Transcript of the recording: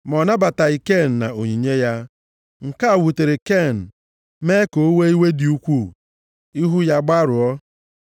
ma ọ nabataghị Ken na onyinye ya. Nke a wutere Ken, mee ka o wee iwe dị ukwuu. Ihu ya agbarụọ.